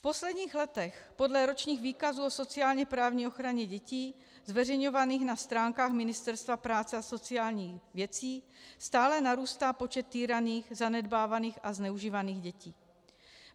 V posledních letech podle ročních výkazů o sociálně-právní ochraně dětí zveřejňovaných na stránkách Ministerstva práce a sociálních dětí stále narůstá počet týraných, zanedbávaných a zneužívaných dětí.